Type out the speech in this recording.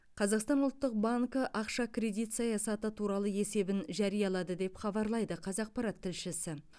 қазақстан ұлттық банкі ақша кредит саясаты туралы есебін жариялады деп хабарлайды қазақпарат тілшісі